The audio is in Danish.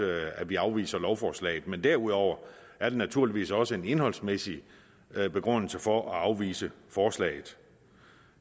at at vi afviser lovforslaget men derudover er der naturligvis også en indholdsmæssig begrundelse for at afvise forslaget